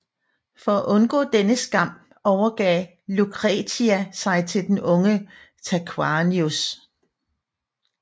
For at undgå denne skam overgav Lucretia sig til den unge Tarquinius